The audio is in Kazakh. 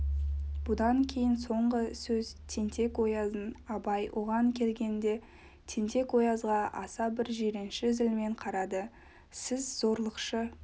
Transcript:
бұдан кейін соңғы сөз тентек-ояздың абай оған келгенде тентек-оязға аса бір жиренші зілмен қарады сіз зорлықшы